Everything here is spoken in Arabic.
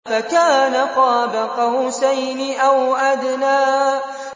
فَكَانَ قَابَ قَوْسَيْنِ أَوْ أَدْنَىٰ